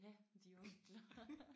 Ja de onkler